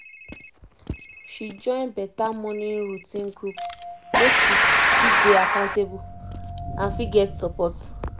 she join better morning routine group make she fit dey accountable and fit get support